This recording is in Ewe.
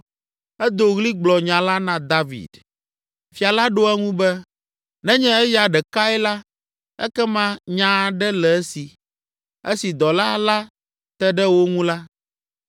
Edo ɣli gblɔ nya la na David. Fia la ɖo eŋu be, “Nenye eya ɖekae la, ekema nya aɖe le esi.” Esi dɔla la te ɖe wo ŋu la.